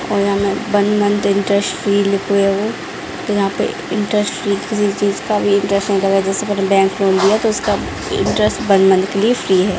और यहाँ में वन मंथ इंटरेस्ट फ्री लिखा हुआ वो तो यहाँ पे इंटरेस्ट फ्री किसी चीज़ का भी इंटरेस्ट नहीं लगेगा जैसे पहले बैंक लोन लिया तो उसका इंटरेस्ट वन मंथ के लिए फ्री है ।